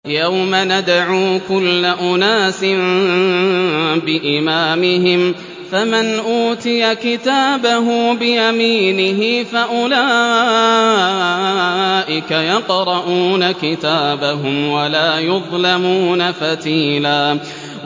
يَوْمَ نَدْعُو كُلَّ أُنَاسٍ بِإِمَامِهِمْ ۖ فَمَنْ أُوتِيَ كِتَابَهُ بِيَمِينِهِ فَأُولَٰئِكَ يَقْرَءُونَ كِتَابَهُمْ وَلَا يُظْلَمُونَ فَتِيلًا